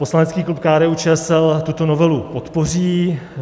Poslanecký klub KDU-ČSL tuto novelu podpoří.